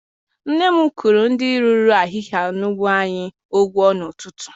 Nne m kwụrụ ndị rụrụ ahịhịa n'ugbo anyị ụgwọ n'ụtụtụ.